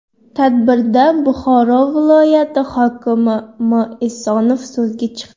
Tadbirda Buxoro viloyati hokimi M. Esonov so‘zga chiqdi.